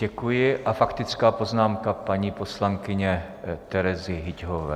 Děkuji a faktická poznámka paní poslankyně Terezy Hyťhové.